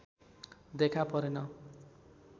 देखा परेन